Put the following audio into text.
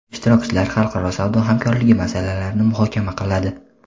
ishtirokchilar xalqaro savdo hamkorligi masalalarini muhokama qiladi.